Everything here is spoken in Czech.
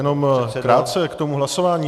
Jenom krátce k tomu hlasování.